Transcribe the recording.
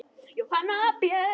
Jóhanna Björg.